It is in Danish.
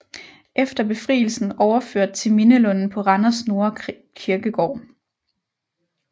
Efter befrielsen overført til Mindelunden på Randers Nordre Kirkegård